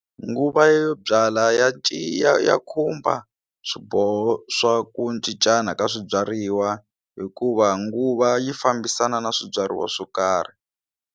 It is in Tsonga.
Nguva yo byala ya ya khumba swiboho swa ku cincana ka swibyariwa hikuva nguva yi fambisana na swibyariwa swo karhi.